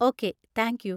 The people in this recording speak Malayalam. Okay, thank U.